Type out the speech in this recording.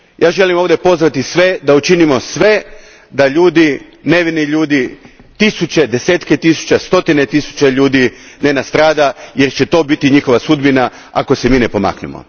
Želim ovdje pozvati sve da učinimo sve da nevini ljudi, tisuće, desetke tisuća, stotine tisuća ne nastrada, jer će to biti njihova sudbina ako se mi ne pomaknemo.